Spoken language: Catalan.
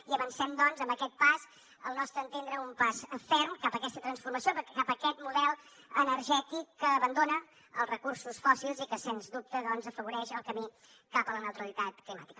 i avancem doncs amb aquest pas al nostre entendre un pas ferm cap a aquesta transformació cap a aquest model energètic que abandona els recursos fòssils i que sens dubte doncs afavoreix el camí cap a la neutralitat climàtica